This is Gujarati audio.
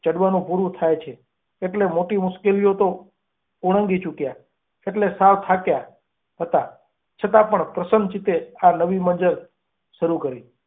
હવે ગડવાનું પૂરું થયું છે એટલે મોટી મુશ્કેલીઓ તો ઓળંગી ચૂક્યા. એટલે, સાવ થાક્યા હતા. છતાં પણ પ્રસન્ન ચિત્તે આ નવી મંજિલ શરૂ કરી.